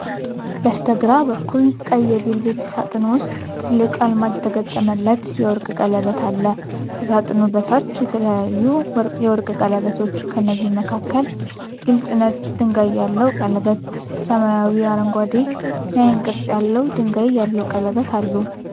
በስተግራ በኩል ቀይ የቬልቬት ሳጥን ውስጥ ትልቅ አልማዝ የተገጠመለት የወርቅ ቀለበት አለ። ከሳጥኑ በታች የተለያዩ የወርቅ ቀለበቶች ፤ ከነዚህም መካከል ግልጽ ነጭ ድንጋይ ያለው ቀለበት፣ ሰማያዊ አረንጓዴ የዓይን ቅርጽ ያለው ድንጋይ ያለው ቀለበት አሉ።